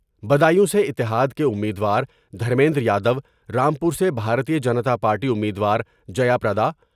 بدایوں سے اتحاد کے امید وار دھرمیندر یادو ، رام پور سے بھارتیہ جنتا پارٹی امیدوار جیا پردا